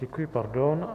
Děkuji, pardon.